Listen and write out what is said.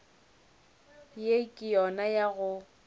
ye ke yona ya go